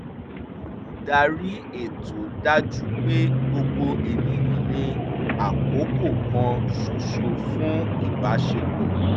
olùdarí ètò dájú pé gbogbo ènìyàn ní àkókò kan ṣoṣo fún ìbáṣepọ̀